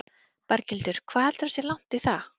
Berghildur: Hvað heldurðu að sé langt í það?